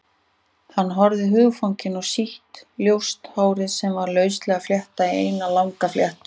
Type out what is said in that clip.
Hann horfði hugfanginn á sítt, ljóst hárið sem var lauslega fléttað í eina langa fléttu.